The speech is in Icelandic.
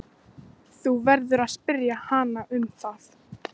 Þú verður að spyrja hana um það.